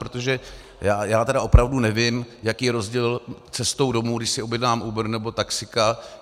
Protože já tedy opravdu nevím, jaký je rozdíl cestou domů, když si objednám Uber, nebo taxíka.